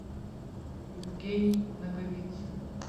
евгений наговицын